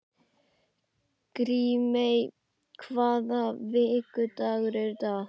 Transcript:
Grímey, hvaða vikudagur er í dag?